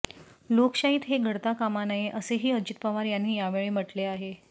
लोकशाहीत हे घडता कामा नये असेही अजित पवार यांनी यावेळी म्हटले आहे